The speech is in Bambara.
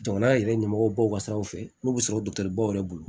Jamana yɛrɛ ɲɛmɔgɔ baw ka siraw fɛ n'u bɛ sɔrɔ bolo